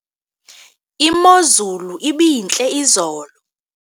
imozulu ibintle izolo